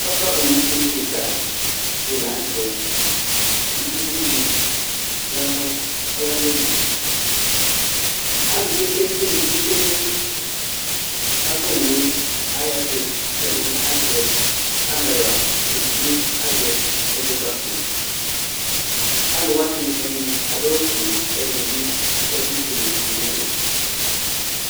Ava owu fué kika dila ŋtɛ Ku uvidi yanu ayi alɔnu Alu pété di be tchué nu ava owué ayɛtu kɛ ɛdini azɛ camɛra ɛdinibi azɛ ɛzɔkpako Aluwani ɛdini adu awu fué ku ɛdini bi akɔ ɛku fué du nu ɛlu